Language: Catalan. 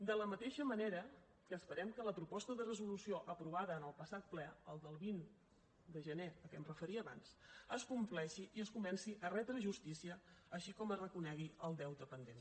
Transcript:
de la mateixa manera que esperem que la proposta de resolució aprovada en el passat ple el del vint de gener a què em referia abans es compleixi i es comenci a retre justícia així com que es reconegui el deute pendent